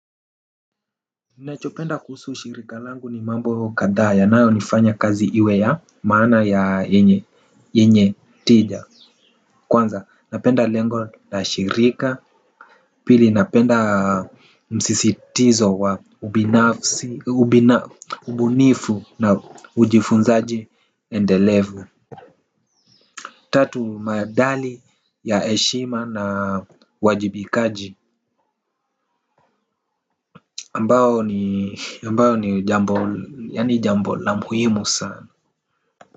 Ninachopenda kuhusu shirika langu ni mambo kadhaa yanayo nifanya kazi iwe ya maana ya yenye yenye tija kwanza napenda lengo la shirika pili napenda msisitizo wa ubinafsi ubina ubunifu na ujifunzaji endelevu. Tatu madali ya eshima na wajibikaji ambao ni ambao ni jambo yaani jambo la muhimu sana.